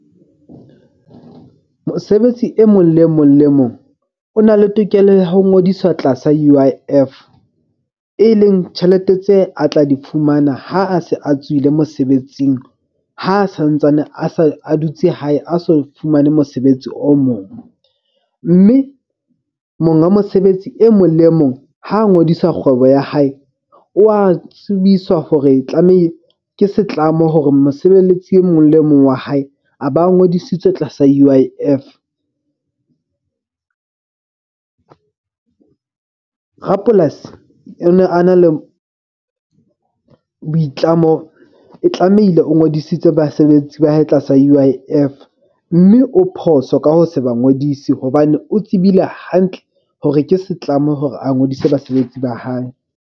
Mosebetsi e mong le e mong le e mong o na le tokelo ya ho ngodiswa tlasa U_I_F e leng tjhelete tse a tla di fumana ha a se a tswile mosebetsing. Ha santsane a sa a dutse hae a so fumane mosebetsi o mong. Mme monga mosebetsi e mong le e mong ha ngodisa kgwebo ya hae, o a tsebiswa hore ke setlamo hore mosebeletsi e mong le e mong wa hae a ba a ngodisitswe tlasa U_I_F. Rapolasi o ne a na le boitlamo e tlamehile o ngodisitswe basebetsi ba hae tlasa U_I_F. Mme o phoso ka ho se ba ngodise hobane o tsebile hantle hore ke setlamo hore a ngodise basebetsi ba hae.